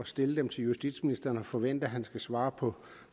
stille dem til justitsministeren og forvente at han skulle svare på